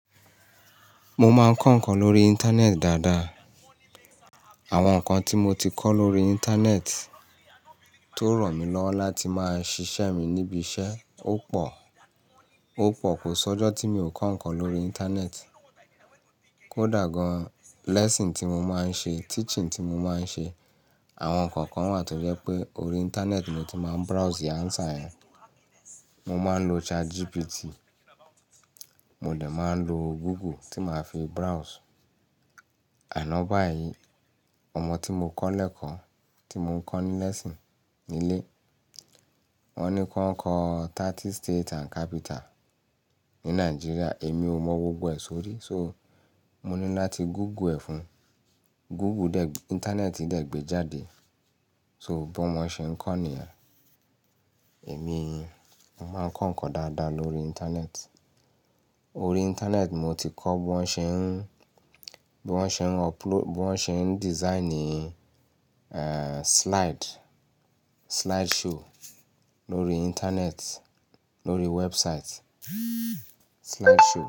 Mo máa ń kọ ǹnkan lórí ìnternet dáadáa. Àwọn ǹnkan tí mo ti kọ́ lórí ìnternet tó ran mí lọ́wọ́ láti máa ṣiṣẹ́ mi níbi iṣẹ́ ó pọ̀, ó pọ̀ kò sọ́jọ́ tí mi ò kọ nǹkan lórí ìnternet. Kódà gan lesson tí mo máa ń ṣe, teaching tí mo máa ń ṣe, àwọn ǹnkan kan wà tó jẹ́ pé orí ìnternet mo ti máa ń browse answer ẹ. Mo máa ń lo ChatGPT, mo dè máa ń lo Google tí màá fi browse. Àná báyìí ọmọ tí mo kọ́ lẹ́ẹ̀ko tí mo kọ́ n lesson nílé, wọ́n ní kí wọ́n kọ 30 state and capital ní Nàìjíríà, èmi ò mọ gbogbo ẹ̀ sórí. So, mo ní láti Google ẹ̀ fún un. Google dè, ìntanẹ́ẹ̀tì dè gbé jáde. So, bí wọ́n mo n ṣe ń kọ́ nìyẹn. Èmi n máa ń kọ ǹnkan dáadáa lórí ìnternet. Orí ìnternet mo ti kọ́ bí wọ́n ṣe ń, bí wọ́n ṣe ń uploa-- bí wọ́n ṣe ń design i e slide, slideshow lórí ìnternet, lórí website, slideshow.